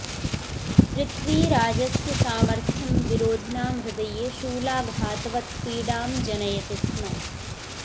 पृथ्वीराजस्य सामर्थ्यं विरोधिनां हृदये शूलाघातवत् पीडां जनयति स्म